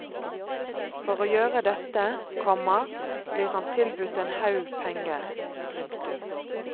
For å gjøre dette, komma blir han tilbudt en haug penger. punktum